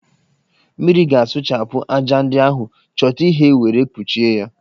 Mmiri ga-asụchapụ ájá ndi ahụ, chọta ihe were kpụchie ya